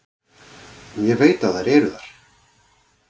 Ég veit að þær eru þar.